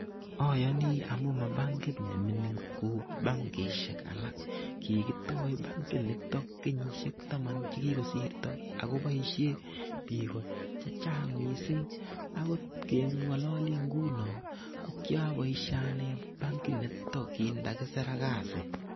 Ayoni amu ma bankit ne mining kou bankishek alak. Kikitoi bankit nitok kenyishek taman che kikosirto ako boisie bik chechang mising akot keng'ololi nguno ko ki aboisie ane bankit nito kin ta kisira kasi.